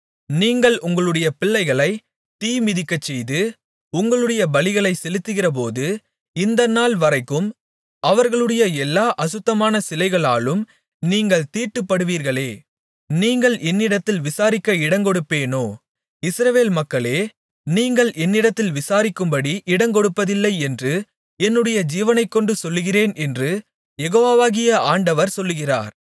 நீங்கள் உங்களுடைய பிள்ளைகளைத் தீ மிதிக்கச்செய்து உங்களுடைய பலிகளைச் செலுத்துகிறபோது இந்த நாள் வரைக்கும் அவர்களுடைய எல்லா அசுத்தமான சிலைகளாலும் நீங்கள் தீட்டுப்படுவீர்களே நீங்கள் என்னிடத்தில் விசாரிக்க இடங்கொடுப்பேனோ இஸ்ரவேல் மக்களே நீங்கள் என்னிடத்தில் விசாரிக்கும்படி இடங்கொடுப்பதில்லை என்று என்னுடைய ஜீவனைக்கொண்டு சொல்லுகிறேன் என்று யெகோவாகிய ஆண்டவர் சொல்லுகிறார்